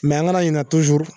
Mɛ an kana ɲinɛ tuzuru